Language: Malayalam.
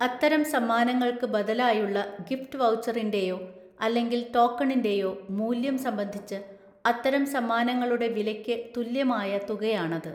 അത്തരം സമ്മാനങ്ങള്‍ക്ക് ബദലായുള്ള ഗിഫ്റ്റ് വൗച്ചറിന് റെയോ അല്ലെങ്കിൽ ടോക്കണിന് റെയോ മൂല്യം സംബന്ധിച്ച് അത്തരം സമ്മാനങ്ങളുടെ വിലയ്ക്ക് തുല്യമായ തുകയാണത്.